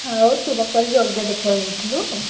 ଆଉ ତୁ ବା କୁଆଡେ ଯଜ୍ଞ ଦେଖିଆକୁ ଯାଇଥିଲୁ?